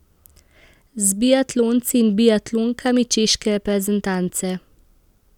S biatlonci in biatlonkami češke reprezentance.